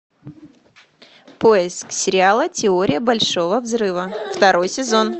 поиск сериала теория большого взрыва второй сезон